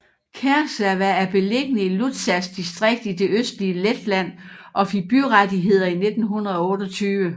Kārsava er beliggende i Ludzas distrikt i det østlige Letland og fik byrettigheder i 1928